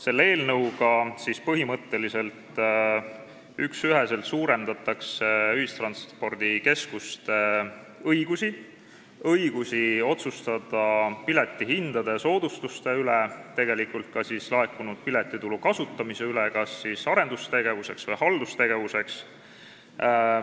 Selle eelnõuga suurendatakse põhimõtteliselt üksüheselt ühistranspordikeskuste õigusi – õigust otsustada piletihindade ja soodustuste üle, tegelikult ka laekunud piletitulu kasutamise üle kas arendustegevuseks või haldustegevuseks.